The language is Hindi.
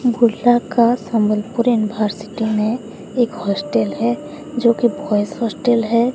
बुर्ला का सम्बलपुर यूनिवर्सिटी में एक हॉस्टल है जोकि बॉयस हॉस्टल है।